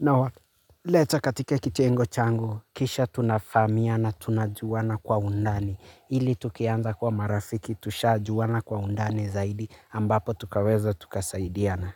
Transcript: Nawaleta katika kitengo changu, kisha tunafahamiana tunajuana kwa undani. Ili tukianza kwa marafiki, tushajuana kwa undani zaidi, ambapo tukaweza tukasaidiana.